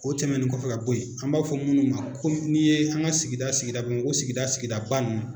O tɛmɛnen kɔfɛ ka bɔ yen, an b'a fɔ minnu ma komi n'i ye an ka sigida sigida Bamako sigida sigida ba ninnu